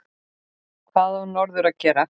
Hvað á norður að gera?